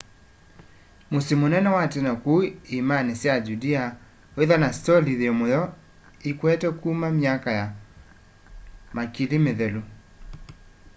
musyi munene wa tene kuu iîmani sya judea withwa na istoli yi muyo ikwete kuma myaka makili mithelu